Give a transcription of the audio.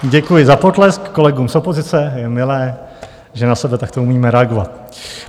Děkuji za potlesk kolegům z opozice, je milé, že na sebe takto umíme reagovat.